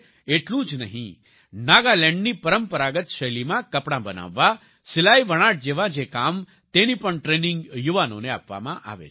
એટલું જ નહીં નાગાલેન્ડની પરંપરાગત શૈલીમાં કપડાં બનાવવા સિલાઈવણાટ જેવા જે કામ તેની પણ ટ્રેનિંગ યુવાનોને આપવામાં આવે છે